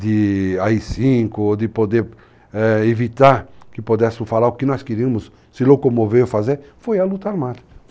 de AI-5 ou de poder evitar que pudessem falar o que nós queríamos se locomover ou fazer, foi a luta armada.